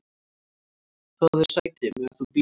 """Fáðu þér sæti, meðan þú bíður"""